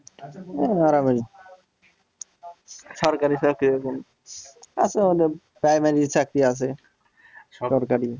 হ্যাঁ আরামেরই সরকারি চাকরি এখন primary এর চাকরি আছে সরকারি